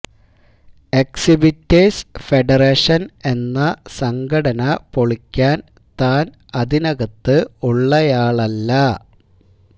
exhibitors federation എന്ന സംഘടന പൊളിക്കാൻ താൻ അതിനകത്ത് ഉള്ളയാളല്ല